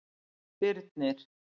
Birnir